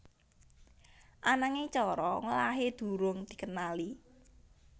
Ananging cara ngolahé durung dikenali